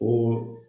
O